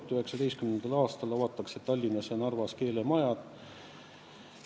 2019. aastal avatakse Tallinnas ja Narvas keelemajad.